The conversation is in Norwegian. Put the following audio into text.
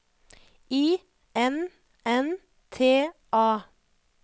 I N N T A